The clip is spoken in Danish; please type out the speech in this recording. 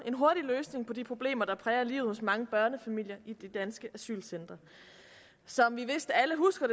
løsning på de problemer der præger livet hos mange børnefamilier i de danske asylcentre som vi vist alle husker